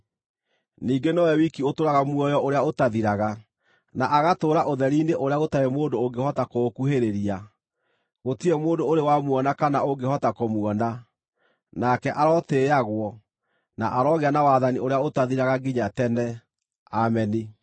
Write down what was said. Ningĩ nowe wiki ũtũũraga muoyo ũrĩa ũtathiraga, na agatũũra ũtheri-inĩ ũrĩa gũtarĩ mũndũ ũngĩhota kũũkuhĩrĩria. Gũtirĩ mũndũ ũrĩ wamuona kana ũngĩhota kũmuona. Nake arotĩĩagwo, na arogĩa na wathani ũrĩa ũtathiraga nginya tene. Ameni.